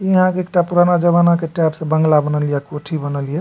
इ आहाँ के एकटा पुराना जमाना के टाइप से बंगला बनल ये कोठी बनल ये।